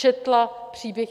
Četla příběh.